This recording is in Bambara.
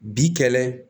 Bi kɛlɛ